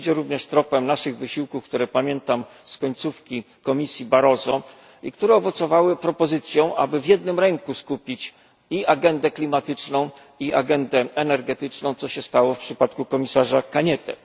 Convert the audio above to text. Idzie również tropem naszych wysiłków, które pamiętam z końcówki Komisji Barroso, i które zaowocowały propozycją, aby w jednym ręku skupić i agendę klimatyczną i agendę energetyczną, co stało się w przypadku komisarza Cañete.